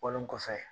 Bɔlen kɔfɛ